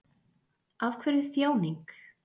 Af hverju þjáning?